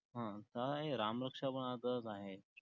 हा, काय रामरक्षा पण असच आहे.